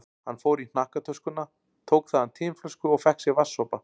Hann fór í hnakktöskuna, tók þaðan tinflösku og fékk sér vatnssopa.